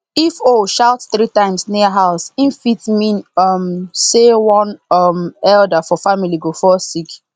if owl shout three times near house e fit mean um say one um elder for family go fall sick